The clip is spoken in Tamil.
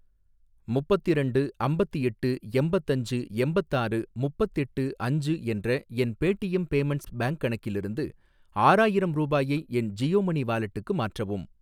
முப்பத்திரண்டு அம்பத்தெட்டு எம்பத்தஞ்சு எம்பத்தாறு முப்பத்தெட்டு அஞ்சு என்ற என் பேடீஎம் பேமென்ட்ஸ் பேங்க் கணக்கிலிருந்து ஆறாயிரம் ரூபாயை என் ஜியோ மனி வாலெட்டுக்கு மாற்றவும்